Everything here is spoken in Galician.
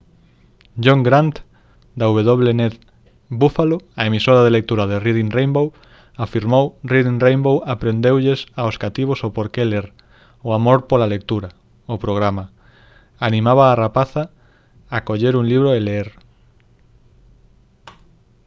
john grant da wned buffalo a emisora de lectura de reading rainbow afirmou: «reading rainbow aprendeulles aos cativos o porque ler o amor pola lectura: [o programa] animaba á rapazada a coller un libro e ler»